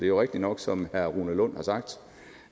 jo rigtigt nok som herre rune lund har sagt